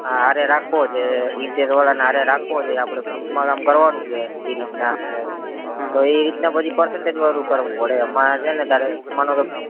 હારે રાખો છે interior વાળા ને હારે રાખવો જોઈએ આપડે group માં કામ કરવાનું ઈ રીતના પછી ઈ રીતના percentage વાળું કરવું પડે એમાં છે ને તારે માનો કે